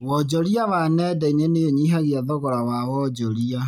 Wonjoria wa nenda inĩ nĩũnyihagia thogora wa wonjoria